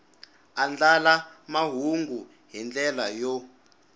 andlala mahungu hi ndlela yo